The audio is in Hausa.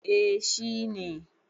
eh. shi ne